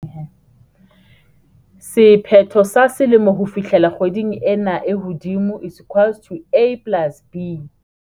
Sephetho sa selemo ho fihlela kgweding ena e hodimo equals to A plus B.